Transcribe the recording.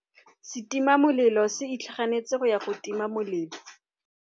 Setima molelô se itlhaganêtse go ya go tima molelô.